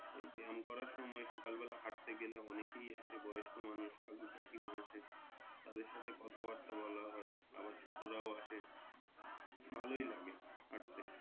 এই ব্যায়াম করার সময় সকাল বেলা হাঁটতে গেলে অনেকেই আসে বয়স্ক মানুষ কাকু কাকিমা আসে তাদের সাথে কথা বার্তা বলা হয় আবার ছোটরাও আসে ভালোই লাগে হাঁটতে।